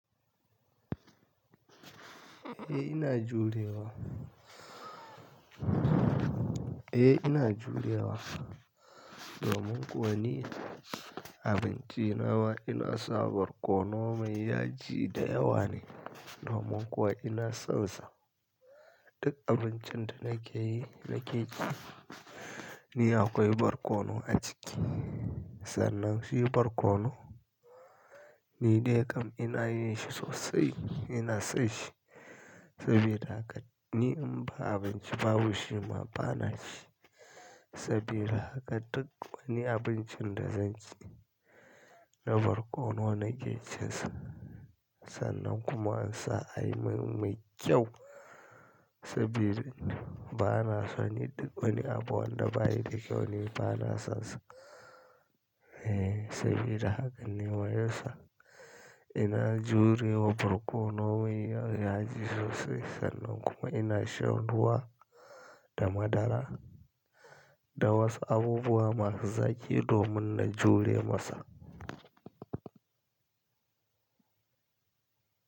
Eh ina jurewa. Eh ina jurewa. Domin kuwa ni abinci na ma ina sa barkono mai yaji da yawa ne. Domin kuwa ina son sa. Duk abincin da nake yi, nake ci, ni akwai barkono a ciki. Sannan shi barkono ni dai kam ina yin shi sosai, ina son shi. Saboda haka ni in ba abinci babu shi ma bana ci. Saboda haka duk wani abincin da zan ci da barkono nake cinsa. Sannan kuma in sa ai min mai kyau. Saboda bana so ni duk wani abu wanda bayi da kyau ni bana sonsa. Eh saboda haka ni wayansa ina jurewa barkono mai yaji sosai sannan kuma ina shan ruwa da madara da wasu abubuwa masu zaƙi domin na jure masa.